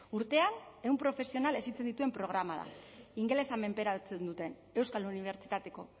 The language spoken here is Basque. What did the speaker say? urtean ehun profesional hezitzen dituen programa da ingelesa menperatzen duten euskal unibertsitateko